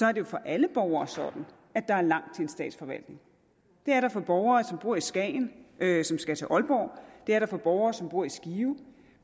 er det for alle borgere sådan at der er langt til en statsforvaltning det er der for borgere som bor i skagen og som skal til aalborg det er der for borgere som bor i skive